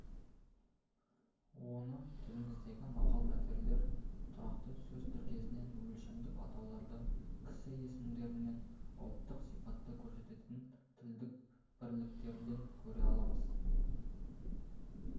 оны тіліміздегі мақал-мәтелдерден тұрақты сөз тіркестерінен өлшемдік атаулардан кісі есімдерінен ұлттық сипатты көрсететін тілдік бірліктерден көре аламыз